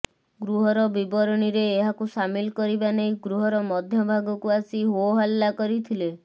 ଗୃହର ବିବରଣୀରେ ଏହାକୁ ସାମିଲ କରିବା ନେଇ ଗୃହର ମଧ୍ୟଭାଗକୁ ଆସି ହୋ ହଲ୍ଲା କରିଥିଲେ